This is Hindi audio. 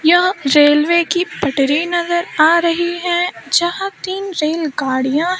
यह रेलवे की पटरी नजर आ रही हैं जहां तीन रेल गाड़ियां--